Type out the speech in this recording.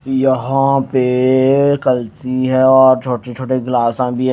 यहां पे कल्ची है और छोटे छोटे गिलासां भी है।